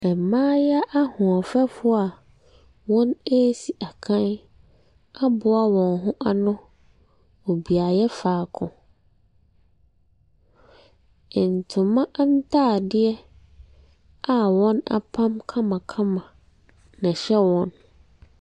Mmayewa ahoɔfɛfoɔ a wɔresi akan aboa wɔn ho ano wɔ beaeɛ faako. Ntoma ntade a wɔapam kamakama na ɛhyɛ wɔn.